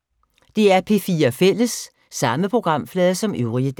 DR P4 Fælles